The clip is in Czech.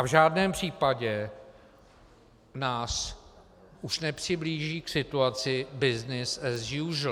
A v žádném případě nás už nepřiblíží k situaci business as usual.